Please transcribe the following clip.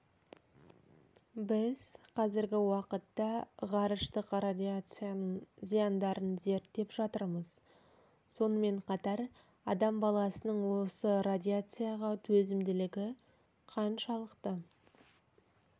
біз қазіргі уақытта ғарыштық радиацияның зияндарын зерттеп жатырмыз сонымен қатар адам баласының осы радиацияға төзімділігі қаншалықты